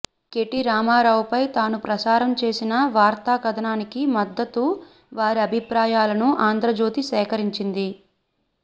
KT రామారావుపై తాను ప్రసారం చేసిన వార్తాకథనానికి మద్దతు వారి అభిప్రాయాలను ఆంధ్రజ్యోతి సేకరించింది